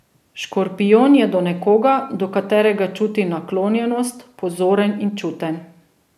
Škorpijon je do nekoga, do katerega čuti naklonjenost, pozoren in čuten.